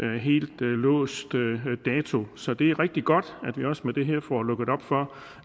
det helt låst dato så det er rigtig godt at vi også med det her får lukket op for